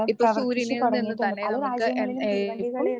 ഇപ്പോൾ സൂര്യനിൽ നിന്നും തന്നെ നമുക്ക്